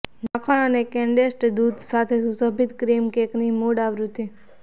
માખણ અને કન્ડેન્સ્ડ દૂધ સાથે સુશોભિત ક્રીમ કેકની મૂળ આવૃત્તિ